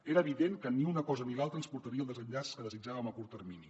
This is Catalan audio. era evident que ni una cosa ni l’altra ens portaria al desenllaç que desitjàvem a curt termini